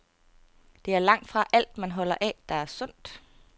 Det er langtfra alt, man holder af, der er sundt.